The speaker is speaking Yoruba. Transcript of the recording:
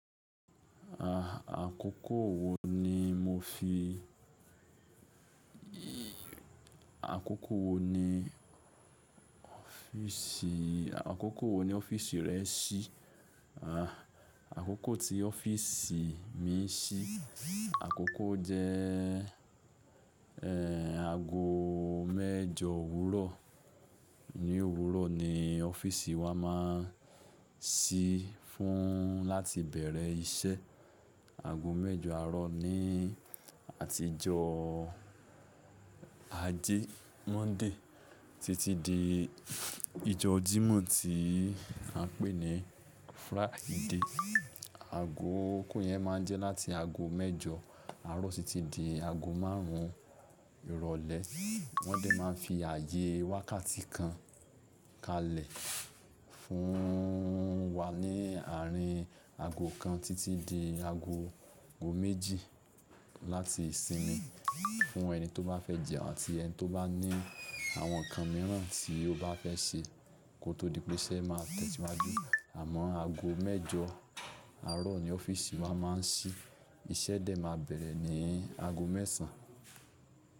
Àkókò wo ní mofi-- àkókò wo ní ọ́fíìsì, àkókò wo ní ọ́fíìsì rẹ sí? Àkókò tí ọ́fíìsì mí ń sí, àkókò jẹ́ èè áago mẹ́jọ òwúrọ̀. Ni òwúrọ̀ ni ọ́fíìsì wa máa ń ṣí fún láti bẹ̀rẹ̀ iṣẹ́. Aago mẹ́jọ àárọ̀ ni àtijọ́ àjẹ́ Monday títí di f--, ijọ́ jímọ̀ tí a ń pè ní Friday. Aago okó yẹn máa ń jẹ́ láti aago mẹ́jọ àárọ̀ títí di aago márùn ún ìrọ̀lẹ́. Wọ́n dẹ̀ máa ń fi àyè wákàtí kan kalẹ̀ fún wa ní àárín aago kan títí di aago gò méjì láti sinmi. Fún ẹni tó bá fẹ́ jẹun àti ẹni tó bá ní àwọn nǹkan mìíràn tí ó bá fẹ́ ṣe kó tó di pé iṣẹ́ máa tẹ̀tí máa jó. Àmọ́ aago mẹ́jọ àárọ̀ ni ọ́fíìsì wa máa ń ṣí, iṣẹ́ dẹ̀ maa bẹ̀rẹ̀ ní aago mẹ́sàn.